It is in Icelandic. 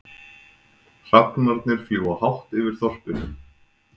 Hrafnarnir fljúga hátt yfir þorpinu.